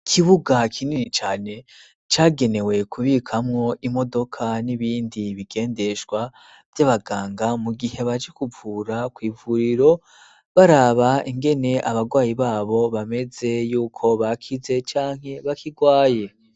Ikibuga kinini cane, cagenewe kubikamwo Imodoka n'ibindi bigendeshwa, vy'Abaganga mu gihe baje kuvura kw'ivuriro, baraba, ingene ,Abagwayi babo bameze, yuko bakize canke bakigwaye.